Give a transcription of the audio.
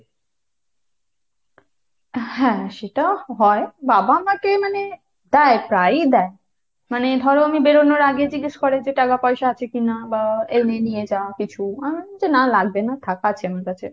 হ্যাঁ সেটা হয়। বাবা আমাকে মানে দেয় প্রায়ই দেয়। মানে ধরো আমি বেরোনোর আগে জিজ্ঞেস করে যে টাকা পয়সা আছে কিনা, বা এমনি নিয়ে যা কিছু আমি বলি না লাগবে না থাক আছে আমার কাছে।